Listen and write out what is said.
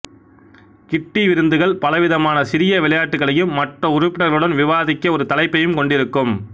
கிட்டி விருந்துகள் பலவிதமான சிறிய விளையாட்டுகளையும் மற்ற உறுப்பினர்களுடன் விவாதிக்க ஒரு தலைப்பையும் கொண்டிருக்கும்